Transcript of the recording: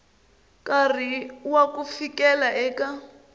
nkarhi wa ku fikela eka